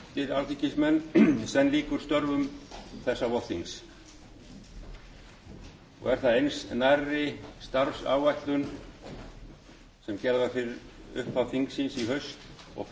háttvirtir alþingismenn senn lýkur störfum þessa vorþings og er það eins nærri starfsáætlun sem gerð var fyrir upphaf þingsins í haust og fært